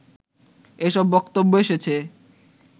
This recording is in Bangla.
এসব বক্তব্য এসেছে